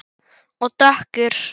Og dökkur.